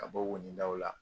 Ka bɔ wonindaw la